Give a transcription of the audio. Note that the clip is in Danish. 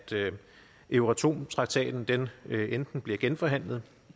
euratom traktaten enten bliver genforhandlet